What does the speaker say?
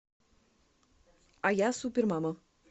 а я супер мама